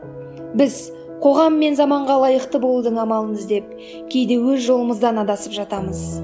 біз қоғам мен заманға лайықты болудың амалын іздеп кейде өз жолымыздан адасып жатамыз